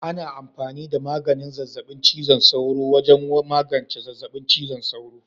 Ana amfani da maganin zazzabin cizon sauro wajen magance zazzabin cizon sauro.